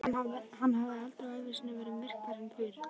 Hann hafði aldrei á ævi sinni verið myrkfælinn fyrr.